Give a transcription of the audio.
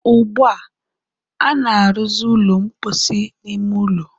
ugbua, a na-arụzị ụlọ mposi n'ime ụlọ.